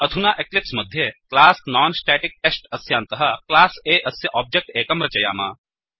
अधुना एक्लिप्स् मध्ये class non static test अस्यान्तः क्लास A अस्य ओब्जेक्ट् एकं रचयाम